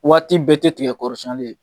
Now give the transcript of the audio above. Waati bɛɛ tɛ tigɛ kɔrɔsɛni ye.